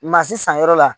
Maa si sanyɔrɔ la